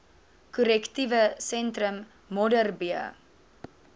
korrektiewe sentrum modderbee